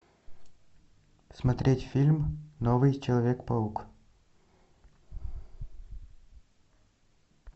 смотреть фильм новый человек паук